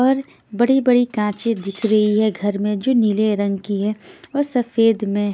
और बड़ी बड़ी कांचे दिख रही है घर में जो नीले रंग की है और सफेद में--